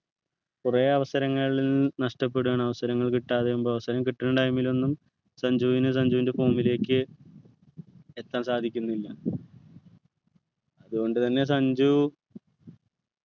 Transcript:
കുറെ അവസരങ്ങൾ നഷ്ടപ്പെടുവാണ് അവസരങ്ങൾ കിട്ടാതെ ആവുമ്പൊ അവസരം കിട്ടുന്ന time ൽ ഒന്നും സഞ്ജുവിനു സഞ്ജുവിൻ്റെ form ലേക്ക് എത്താൻ സാധിക്കുന്നില്ല അതുകൊണ്ട് തന്നെ സഞ്ജു